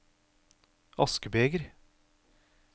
askebeger